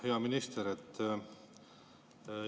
Hea minister!